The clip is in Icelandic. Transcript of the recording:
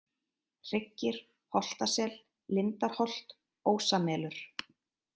Hryggir, Holtasel, Lindarholt, Ósamelur